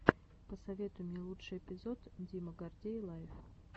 посоветуй мне лучший эпизод дима гордей лайв